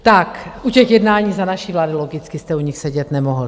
Tak u těch jednání za naší vlády, logicky jste u nich sedět nemohl.